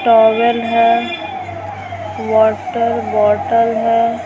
Towel है water bottle है।